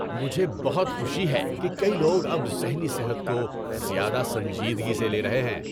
مجھے بہت خوشی ہے کہ کئی لوگ اب ذہنی صحت کو زیادہ سنجیدگی سے لے رہے ہیں۔